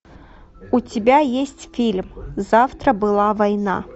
у тебя есть фильм завтра была война